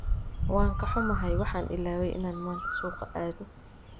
Waan ka xumahay, waxaan ilaaway inaan maanta suuqa aado.